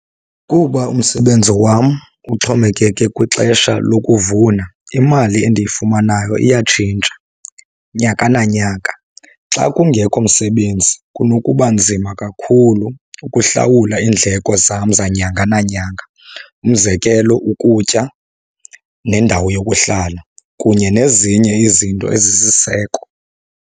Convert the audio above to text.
Kuba umsebenzi wam uxhomekeke kwixesha lokuvuna, imali endiyifumanayo iyatshintsha nyaka nanyaka. Xa kungekho msebenzi kunokuba nzima kakhulu ukuhlawula iindleko zam zanyanga nanyanga. Umzekelo, ukutya nendawo yokuhlala kunye nezinye izinto ezisisiseko.